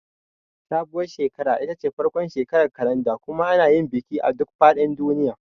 Sabuwar shekara ita ce farkon shekarar kalanda kuma ana yin bikin a duk fadin duniya.